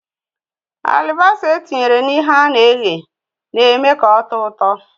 Alibasa etinyere na ihe ana eghe na-eme ka ọ̀tọ́ ụtọ